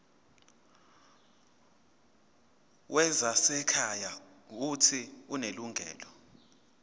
wezasekhaya uuthi unelungelo